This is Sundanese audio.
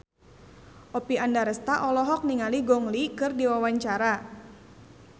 Oppie Andaresta olohok ningali Gong Li keur diwawancara